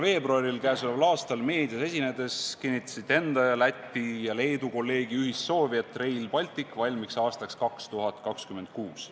Selle aasta 7. veebruaril meedias esinedes kinnitasite enda ning oma Läti ja Leedu kolleegide ühist soovi, et Rail Baltic valmiks aastaks 2026.